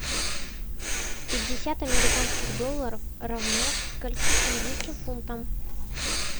пятьдесят американских долларов равно скольки английским фунтам